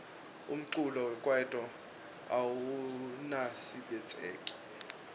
umculo wekaito awusaniabitseki